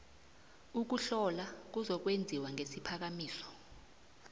ukuhlola kuzokwenziwa ngesiphakamiso